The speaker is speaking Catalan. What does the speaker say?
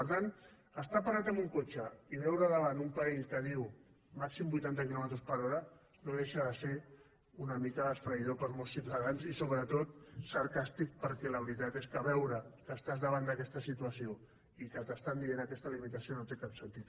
per tant estar parat amb un cotxe i veure davant un panell que diu màxim vuitanta quilòmetres per hora no deixar de ser una mica esfereïdor per a molts ciutadans i sobretot sarcàstic perquè la veritat és que veure que estàs davant d’aquesta situació i que t’estan dient aquesta limitació no té cap sentit